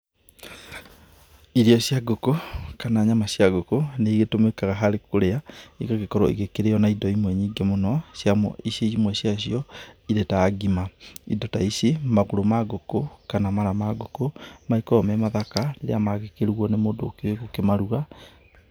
Irio cia ngũkũ kana nyama cia ngũkũ nĩ igĩtũmĩkaga harĩ kũrĩa, igagĩkorwo ĩgĩkĩrĩo na indo imwe nyingĩ mũno imwe ciacio irĩ ta ngima. Indo ta ici, magũrũ ma ngũkũ kana mara ma ngũkũ magĩkoragwo me mathaka rĩrĩa magĩkĩrugwo nĩ mũndũ ũkĩũĩ gũkĩmaruga.